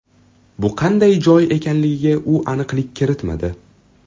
Bu qanday joy ekanligiga u aniqlik kiritmadi.